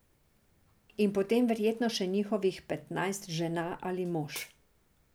In potem verjetno še njihovih petnajst žena ali mož.